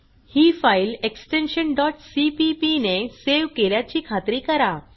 ही file extension cpp ने save केल्याची खात्री करा